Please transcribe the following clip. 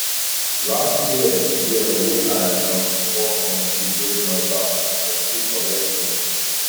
last year year wey i um fall from tree break my back i see correct pain